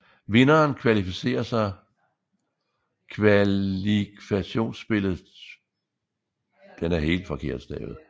Vinderen kvalificerer sig kvalifkationsspillet til EHF Cup